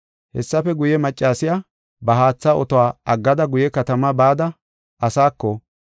Hessafe guye, maccasiya ba haatha otuwa aggada guye katamaa bada asaako,